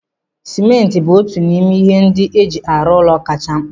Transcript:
Simenti bụ otu n'ime ihe ndị eji arụ ụlọ kachasị mkpa